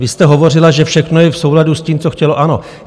Vy jste hovořila, že všechno je v souladu s tím, co chtělo ANO.